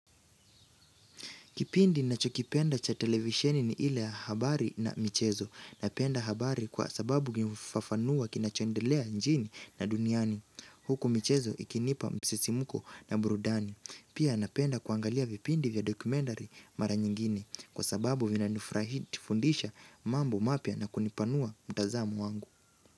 Kipindi ninachokipenda cha televisheni ni ile ya habari na michezo. Napenda habari kwa sababu inafafanua kinachondelea nchini na duniani. Huku michezo ikinipa msisimko na burudani. Pia napenda kuangalia vipindi vya documentary maranyingine. Kwa sababu vinatufurahisha na kutufundisha mambo mapya na kunipanua mtanzamo wangu.